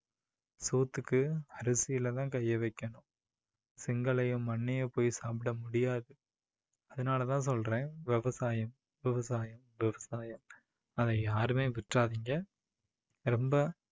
சோத்துக்கு அரிசியில தான் கையை வைக்கணும் செங்கல்லையோ மண்ணையோ போய் சாப்பிட முடியாது. அதனால தான் சொல்றேன் விவசாயம் விவசாயம் விவசாயம் அதை யாருமே விட்டுறாதீங்க. ரொம்ப